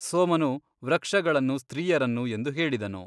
ಸೋಮನು ವೃಕ್ಷಗಳನ್ನು ಸ್ತ್ರೀಯರನ್ನು ಎಂದು ಹೇಳಿದನು.